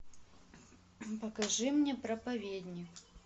покажи мне проповедник